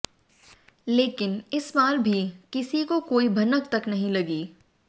लेकिन इस बार भी किसी को कोई भनक तक नहीं लगी